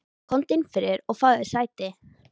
Komdu inn fyrir og fáðu þér sæti.